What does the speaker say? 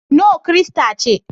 No kirista ce.